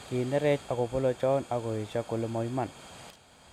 Kinerech agopolochon agoyesio kole mo iman.